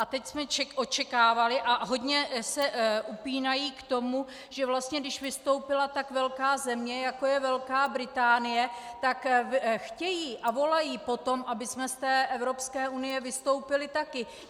A teď jsme očekávali, a hodně se upínají k tomu, že vlastně když vystoupila tak velká země, jako je Velká Británie, tak chtějí a volají po tom, abychom z té Evropské unie vystoupili taky.